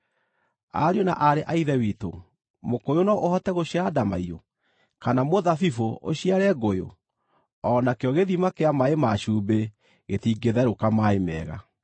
Ariũ na aarĩ a Ithe witũ, mũkũyũ no ũhote gũciara ndamaiyũ, kana mũthabibũ ũciare ngũyũ? O nakĩo gĩthima kĩa maaĩ ma cumbĩ gĩtingĩtherũka maaĩ mega.